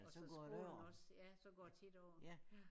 Og så skolen også ja så går det tit over ja